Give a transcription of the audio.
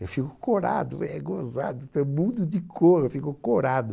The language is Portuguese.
Eu fico corado, é gozado, mudo de cor, eu fico corado.